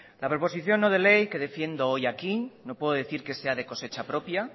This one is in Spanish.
la proposición no de ley que defiendo hoy aquí no puedo decir que sea de cosecha propia